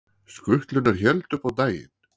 Skutlurnar héldu upp á daginn